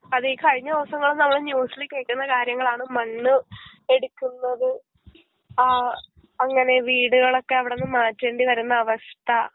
അതെ ഈ കഴിഞ്ഞ ദെവസങ്ങള് നമ്മള് ന്യൂസില് കേക്കുന്ന കാര്യങ്ങളാണ് മണ്ണ് എടുക്കുന്നത് ആ അങ്ങനെ വീട്കളൊക്കെ അവടന്ന് മാറ്റേണ്ടി വരുന്ന അവസ്ഥ